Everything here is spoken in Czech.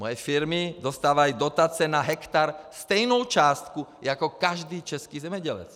Moje firmy dostávají dotace na hektar stejnou částku jako každý český zemědělec.